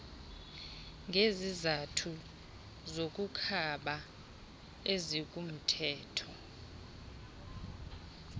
ngezizathu zokukhaba ezikumthetho